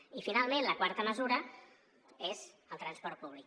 i finalment la quarta mesura és el transport públic